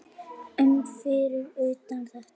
um fyrir utan þetta.